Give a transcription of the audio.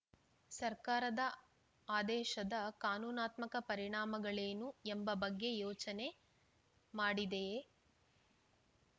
ಸರ್ಕಾರದ ಆದೇಶದ ಕಾನೂನಾತ್ಮಕ ಪರಿಣಾಮಗಳೇನು ಎಂಬ ಬಗ್ಗೆ ಯೋಚನೆ ಮಾಡಿದೆಯೇ